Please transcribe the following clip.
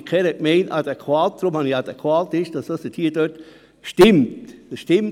Wer dieser Planungserklärung zustimmen will, stimmt Ja, wer sie ablehnt, stimmt Nein.